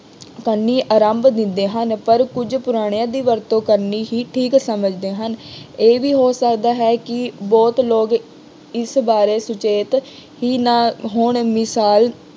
ਕਰਨੀ ਆਰੰਭ ਦਿੰਦੇ ਹਨ। ਪਰ ਕੁੱਝ ਪੁਰਾਣਿਆਂ ਦੀ ਵਰਤੋਂ ਕਰਨੀ ਹੀ ਠੀਕ ਸਮਝਦੇ ਹਨ। ਇਹ ਵੀ ਹੋ ਸਕਦਾ ਹੈ ਕਿ ਬਹੁਤ ਲੋਕ ਇਸ ਬਾਰੇ ਸੁਚੇਤ ਹੀ ਨਾ ਹੋਣ ਮਿਸਾਲ